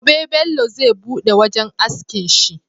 Gobe Bello zai buɗe wajan askin shi